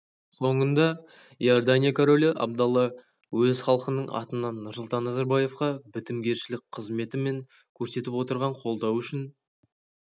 соңында иордания королі абдалла өз халқының атынан нұрсұлтан назарбаевқа бітімгершілік қызметі мен көрсетіп отырған қолдауы үшін